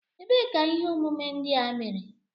Ebee ka ihe omume ndị a mere?